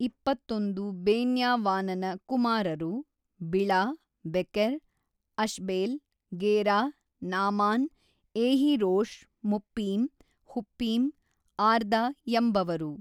ಇಪ್ಪತ್ತೊಂದು ಬೆನ್ಯಾವಿಾನನ ಕುಮಾ ರರು Bela Becher Ashbel Gera Naaman Ehi Rosh Muppim Huppim Ard ಎಂಬವರು.